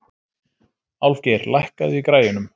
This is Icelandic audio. Álfgeir, lækkaðu í græjunum.